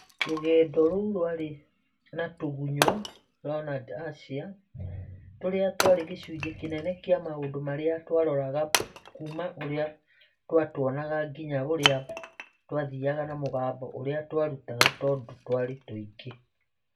Rũgendo rũu rwarĩ na tũgũnyũ (Leornad's Achea) tũrĩa twarĩ gĩcunjĩ kĩnene kĩa maũndũ marĩa twaroraga kuuma ũrĩa twatuonaga nginya ũrĩa twathiaga na mũgambo ũrĩa twarutaga tondũ twarĩ tũingĩ.